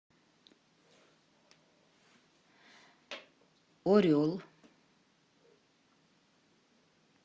орел